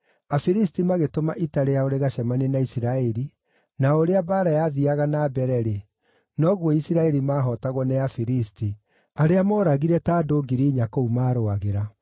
Afilisti magĩtũma ita rĩao rĩgacemanie na Isiraeli, na o ũrĩa mbaara yathiiaga na mbere-rĩ, noguo Isiraeli maahootagwo nĩ Afilisti, arĩa mooragire andũ ta 4,000 kũu maarũagĩra.